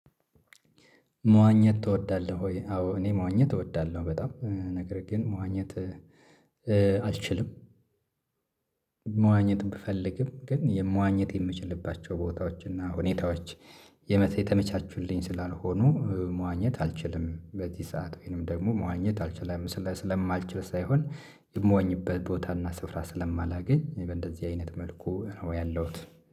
መዋኘት ትወዳለህ ወይ? አዎ እኔ መዋኘት እወዳለሁ በጣም ነገር ግን መዋኘት አልችልም። መዋኘት ብፈልግም ግን የመዋኘት የምችልባቸው ቦታዎች እና ሁኔታዎች የመ የተመቻቹልኝ ስላልሆኑ መዋኘት አልችልም። በዚህ ሰዓት ወይንም ደግሞ መዋኘት አልችልም ስለማልችል ሳይሆን የምዋኝበት ቦታ እና ስፍራ ስለማላገኝ በእንደዚህ አይነት መልኩ ነው ያለሁት